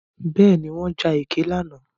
Bẹ́ẹ̀ni, wọ́n ja ẹkẹ lánàá.